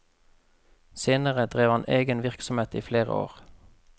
Senere drev han egen virksomhet i flere år.